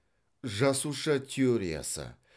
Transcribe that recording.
жасуша теориясы